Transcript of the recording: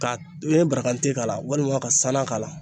Ka n ye barakante k'a la walima ka sanan k'a la